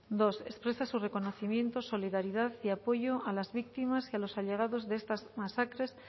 dos expresa su reconocimiento solidaridad y apoyo a las víctimas y a los allegados de estas masacres